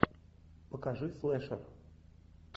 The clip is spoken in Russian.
покажи слэшер